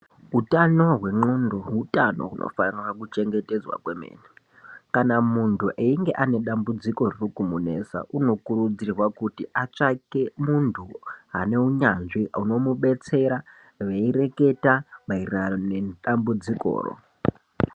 Utano hwendxondo utano hunofanira kuchengetedzwa kwemene kana muntu einge ane dambudziko riri kumunesa unokurudzirwa kuti atsvake muntu ane unyanzvi unomubetsera veireketa maererano nedambudzikoro.